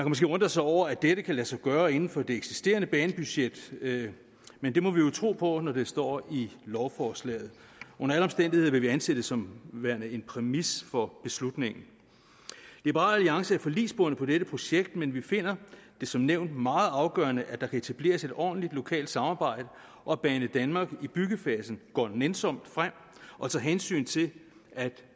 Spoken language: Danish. måske undre sig over at dette kan lade sig gøre inden for det eksisterende banebudget men det må man jo tro på når det står i lovforslaget under alle omstændigheder vil vi anse det som værende en præmis for beslutningen liberal alliance er forligsbundet på dette projekt men vi finder det som nævnt meget afgørende at der kan etableres et ordentligt lokalt samarbejde og at banedanmark i byggefasen går nænsomt frem og tager hensyn til at